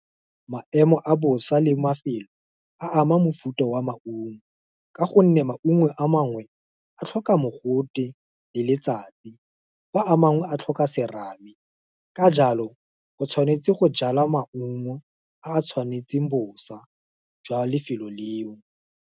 Maemo a bosa le mafelo, a ama mofuta wa maungo, ka gonne maungo a mangwe, a tlhoka mogote, le letsatsi, fa a mangwe a tlhoka serame, ka jalo, o tshwanetse go jala maungo a a tshwanetseng bosa, jwa lefelo leo.